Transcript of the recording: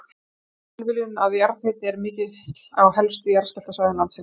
Það er því ekki tilviljun að jarðhiti er mikill á helstu jarðskjálftasvæðum landsins.